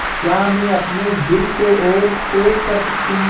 क्या मैं अपने दिल को और तेज़ कर सकती हूँ